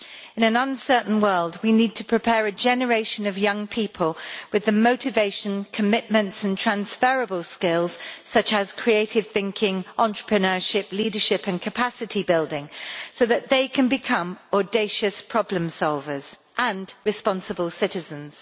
In an uncertain world we need to prepare a generation of young people with the motivation, commitment and transferrable skills, such as creative thinking, entrepreneurship, leadership and capacity building, so that they can become audacious problem solvers and responsible citizens.